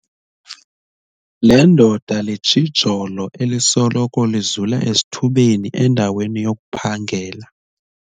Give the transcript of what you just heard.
Le ndoda litshijolo elisoloko lizula esithubeni endaweni yokuphangela.